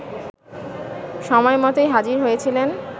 সময়মতোই হাজির হয়েছিলেন